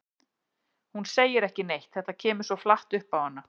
Hún segir ekki neitt, þetta kemur svo flatt upp á hana.